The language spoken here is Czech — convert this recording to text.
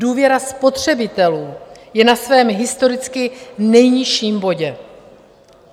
Důvěra spotřebitelů je na svém historicky nejnižším bodě.